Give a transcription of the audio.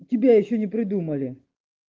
у тебя ещё не придумали